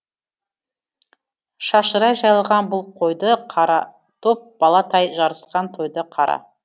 шашырай жайылған бұл қойды қара топ бала тай жарысқан тойды қара